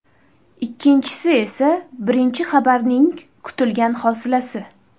Ikkinchisi esa birinchi xabarning kutilgan hosilasi.